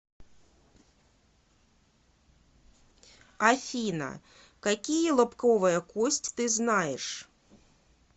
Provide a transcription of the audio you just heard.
афина какие лобковая кость ты знаешь